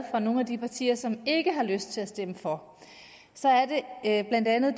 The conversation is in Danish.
fra nogle af de partier som ikke har lyst til at stemme for blandt andet